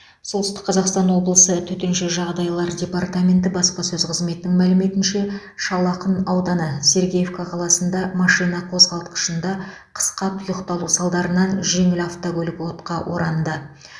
солтүстік қазақстан облысы төтенше жағдайлар департаменті баспасөз қызметінің мәліметінше шал ақын ауданы сергеевка қаласында машина қозғалтқышында қысқа тұйықталу салдарынан жеңіл автокөлік отқа оранды